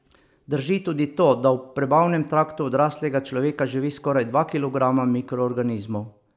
Drži tudi to, da v prebavnem traktu odraslega človeka živi skoraj dva kilograma mikroorganizmov.